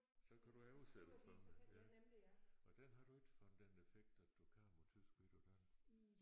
Så kan du oversætte for mig ja og den har du ikke fået den defekt at du kan på tysk men ikke på dansk?